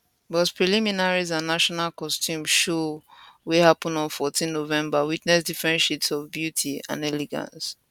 but preliminaries and national costume show wey happun on 14 november witness different shades of beauty and elegance